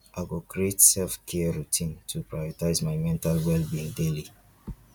i go create selfcare routines to prioritize my mental wellbeing daily